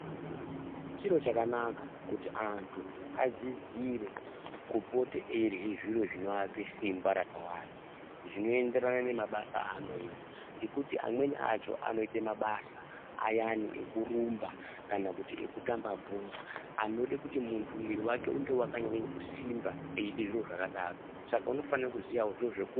Chiro chakanaka kuti antu adzidzire kupota eirye zviro zvinoape simba rakawanda, zvinoenderana nemabasa aanoita. Ngekuti amweni acho anoite mabasa ayani ekurumba kana ekutamba bhora anode kuti muntu mwiri wake unge wakanyanye kusimba eiite zviro zvakadaro saka unofane kuziyawo zviro zveku...